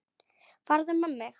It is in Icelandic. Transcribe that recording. Farðu með mig.